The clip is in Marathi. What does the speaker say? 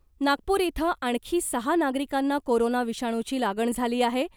नागपूर इथं आणखी सहा नागरिकांना कोरोना विषाणूची लागण झाली आहे .